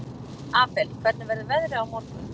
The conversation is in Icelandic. Abel, hvernig verður veðrið á morgun?